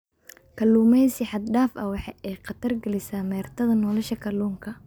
Kalluumaysi xad dhaaf ah waxa ay khatar gelisaa meertada nolosha kalluunka.